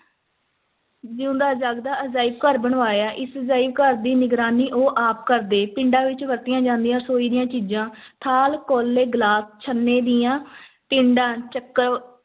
ਜਿਊਂਦਾ-ਜਾਗਦਾ ਅਜਾਇਬ-ਘਰ ਬਣਵਾਇਆ, ਇਸ ਅਜਾਇਬ ਘਰ ਦੀ ਨਿਗਰਾਨੀ ਉਹ ਆਪ ਕਰਦੇ, ਪਿੰਡਾਂ ਵਿੱਚ ਵਰਤੀਆਂ ਜਾਂਦੀਆਂ ਰਸੋਈ ਦੀਆਂ ਚੀਜ਼ਾਂ, ਥਾਲ, ਕੌਲੇ, ਗਲਾਸ, ਛੰਨੇ ਦੀਆਂ ਟਿੰਡਾਂ